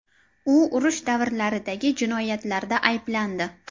U urush davrlaridagi jinoyatlarda ayblandi.